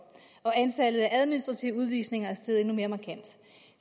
og antallet af administrative udvisninger er steget endnu mere markant